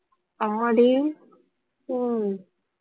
அம்மாடி ஹம்